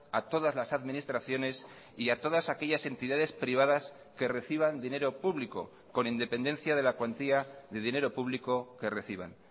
a todas las administraciones y a todas aquellas entidades privadas que reciban dinero público con independencia de la cuantía de dinero público que reciban